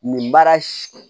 Nin baara